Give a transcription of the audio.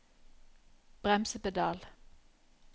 bremsepedal